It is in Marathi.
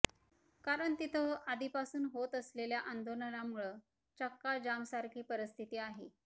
कारण तिथं आधीपासून होत असलेल्या आंदोलनामुळं चक्का जाम सारखी परिस्थिती आहे